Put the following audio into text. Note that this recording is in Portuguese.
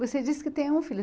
Você disse que tem um filho.